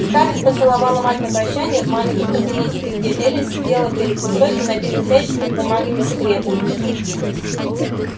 скарлетт поцеловала мать на прощанье в маленьком кабинетике где эллин сидела перед высоким набитым всяческими бумагами секретом